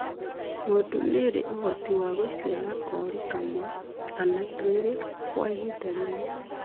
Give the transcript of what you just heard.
Ng'ondu nĩ ĩrĩ ũhoti wa gũciara kori kamwe kana twĩrĩ kwa ĩhinda rĩmwe.